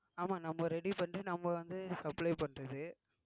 ஆமா நம்ம ready பண்ணிட்டு நம்ம வந்து supply பண்றது